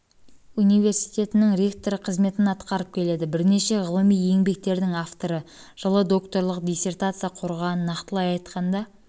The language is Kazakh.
университетінің ректоры қызметін атқарып келеді бірнеше ғылыми еңбектердің авторы жылы докторлық диссертация қорғаған нақтылай айтқанда